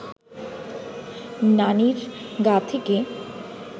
নানির গা থেকে